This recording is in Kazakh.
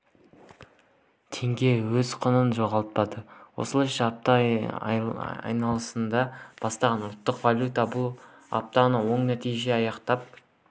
теңге өз құнын жоғалтпады осылайша аптаны айналасында бастаған ұлттық валюта бұл аптаны оң нәтижемен аяқтап